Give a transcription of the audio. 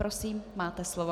Prosím, máte slovo.